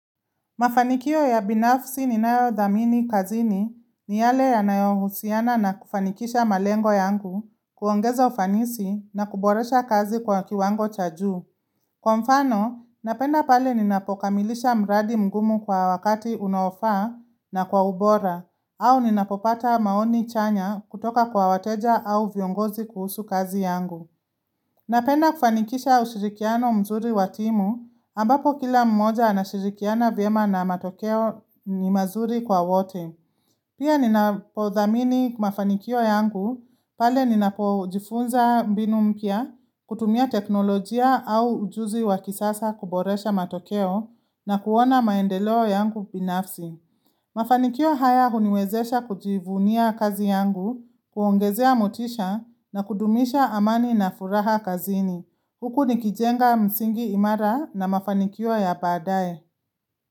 Mafanikio ya binafsi ninayodhamini kazini ni yale yanayohusiana na kufanikisha malengo yangu, kuongeza ufanisi na kuboresha kazi kwa kiwango cha juu. Kwa mfano, napenda pale ninapokamilisha mradi mgumu kwa wakati unofaa na kwa ubora, au ninapopata maoni chanya kutoka kwa wateja au viongozi kuhusu kazi yangu. Napenda kufanikisha ushirikiano mzuri wa timu ambapo kila mmoja anashirikiana vyema na matokeo ni mazuri kwa wote. Pia ninapothamini mafanikio yangu pale ninapojifunza mbinu mpya, kutumia teknolojia au ujuzi wa kisasa kuboresha matokeo na kuona maendeleo yangu binafsi. Mafanikio haya huniwezesha kujivunia kazi yangu, kuongezea motisha na kudumisha amani na furaha kazini. Huku nikijenga msingi imara na mafanikio ya baadae.